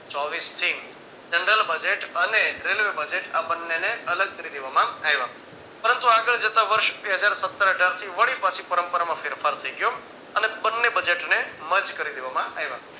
ચોવીસથી generalbudget અને railway budget આ બંને ને અલગ કરી દેવામાં આવ્યા પરંતુ આગળ જતા વર્ષ બે હજાર સત્તર અઢાર થી વળી પછી પરંપરામાં ફેરફાર થઈ ગયો અને અને બંને budget ને mrage કરી દેવામાં આવ્યા.